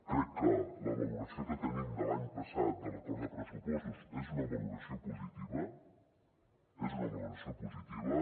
crec que la valoració que tenim de l’any passat de l’acord de pressupostos és una valoració positiva és una valoració positiva